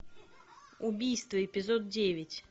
убийство эпизод девять